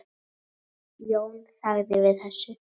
Jón þagði við þessu.